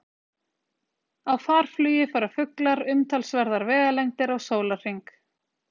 Á farflugi fara fuglar umtalsverðar vegalengdir á sólarhring.